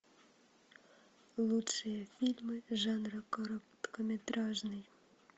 лучшие фильмы жанра короткометражные